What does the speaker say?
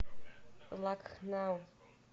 лакхнау